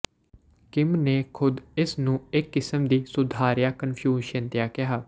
Kim ਨੇ ਖੁਦ ਇਸ ਨੂੰ ਇਕ ਕਿਸਮ ਦੀ ਸੁਧਾਰਿਆ ਕਨਫਿਊਸ਼ਿਅਨਤਾ ਕਿਹਾ